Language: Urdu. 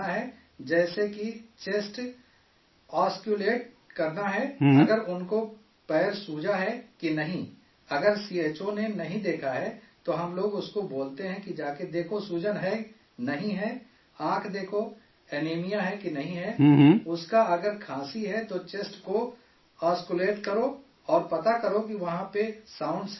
جیسے کسی کا چیسٹ آسلٹیٹ کرنا ہے، اگر ان کو پیر سوجا ہے کہ نہیں؟ اگر سی ایچ او نے نہیں دیکھا ہے تو ہم لوگ اس کو بولتے ہیں کہ جا کر دیکھو سوجن ہے، نہیں ہے، آنکھ دیکھو، اینیمیا ہے کہ نہیں ہے، اس کا اگر کھانسی ہے تو چیسٹ کو آسلٹیٹ کرو اور پتہ کرو کہ وہاں پہ ساؤنڈ ہے کہ نہیں